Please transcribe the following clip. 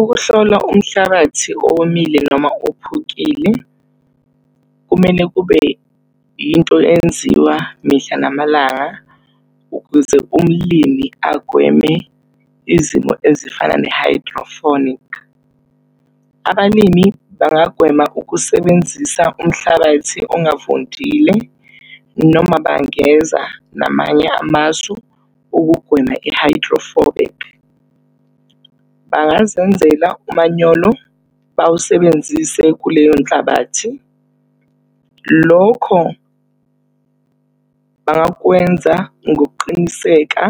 Ukuhlola umhlabathi owomile noma ophukile, kumele kube into enziwa mihla namalanga. Ukuze umlimi agweme izimo ezifana ne-hydroponic, abalimi bangagwema ukusebenzisa umhlabathi ongavundile noma bangeza namanye amasu ukugwema i-hydroponic. Bangazenzela umanyolo, bawusebenzise kuleyo nhlabathi. Lokho bangakwenza ngokuqiniseka